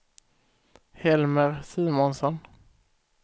Helmer Simonsson